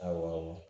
Awɔ